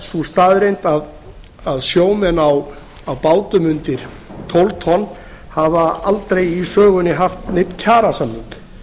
sú staðreynd að sjómenn á bátum undir tólf tonn hafa aldrei í sögunni haft neinn kjarasamning